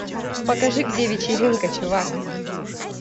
покажи где вечеринка чувак